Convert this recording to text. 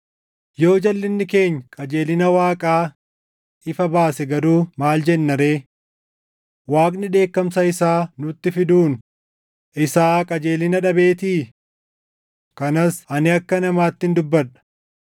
Yoo jalʼinni keenya qajeelina Waaqaa ifa baase garuu maal jenna ree? Waaqni dheekkamsa isaa nutti fiduun isaa qajeelina dhabeetii? Kanas ani akka namaattin dubbadha.